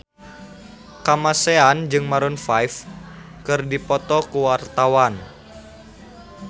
Kamasean jeung Maroon 5 keur dipoto ku wartawan